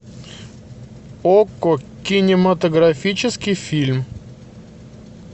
окко кинематографический фильм